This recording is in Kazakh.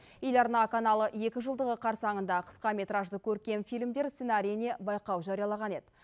ел арна каналы екі жылдығы қарсаңында қысқаметражды көркем фильмдер сценариіне байқау жариялаған еді